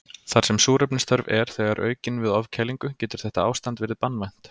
Þar sem súrefnisþörf er þegar aukin við ofkælingu getur þetta ástand verið banvænt.